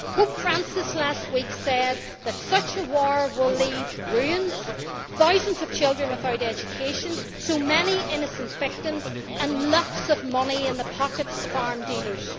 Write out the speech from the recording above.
Pope Francis said last week that such a war will leave ruins, thousands of children without education, so many innocent victims and lots of money in the pockets of arms dealers.